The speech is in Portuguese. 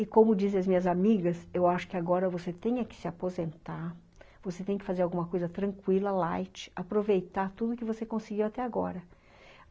E como dizem as minhas amigas, eu acho que agora você tem é que se aposentar, você tem que fazer alguma coisa tranquila, light, aproveitar tudo que você conseguiu até agora.